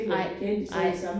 Nej nej